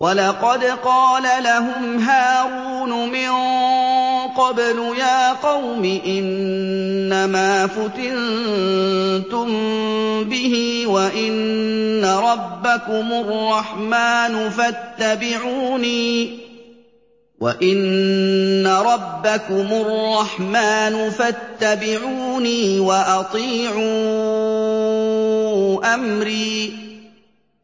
وَلَقَدْ قَالَ لَهُمْ هَارُونُ مِن قَبْلُ يَا قَوْمِ إِنَّمَا فُتِنتُم بِهِ ۖ وَإِنَّ رَبَّكُمُ الرَّحْمَٰنُ فَاتَّبِعُونِي وَأَطِيعُوا أَمْرِي